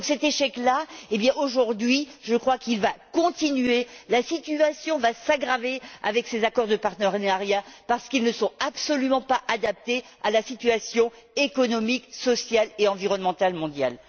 Cet échec là, eh bien, aujourd'hui, je crois qu'il va continuer, la situation va s'aggraver avec ces accords de partenariat parce qu'ils ne sont absolument pas adaptés à la situation économique, sociale et environnementale mondiale.